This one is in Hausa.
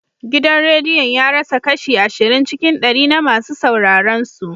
Gidan rediyon ya rasa kashi ashirin cikin ɗari na masu sauraron su.